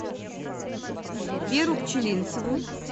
веру пчелинцеву